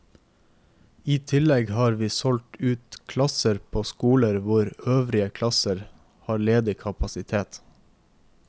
I tillegg har vi valgt ut klasser på skoler hvor øvrige klasser har ledig kapasitet.